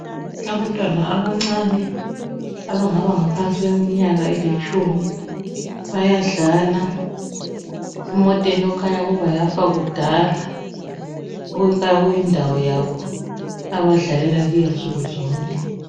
Abantwana abancane abangaba ngaphansi kweminyaka elitshumi . Bayadlala emotheni ekhanya ukuba yafa kuda. Kukhanya kuyindawo yabo akudlalela kiyo insuku zonke.